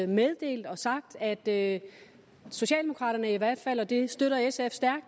meddelt og sagt at socialdemokraterne i hvert fald det støtter sf